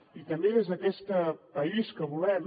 i també des d’aquest país que volem